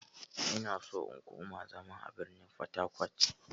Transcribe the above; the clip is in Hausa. Ina so in koma zama a birnin fatakwat.